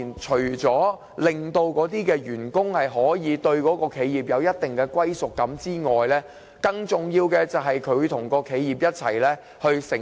除了令員工對企業有一定歸屬感外，更重要的是企業能與員工甘苦與共。